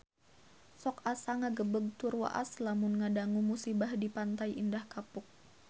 Sok asa ngagebeg tur waas lamun ngadangu musibah di Pantai Indah Kapuk